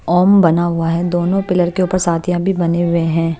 ओम बना हुआ हैदोनों पिलर के ऊपर सातिया भी बने हुए हैं।